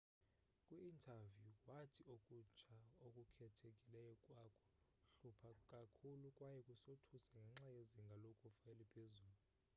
kwi interview wathi okutsha okukhethekileyo kwaku hlupha kakhulu kwaye kusothusa ngenxa yezinga lokufa eliphezulu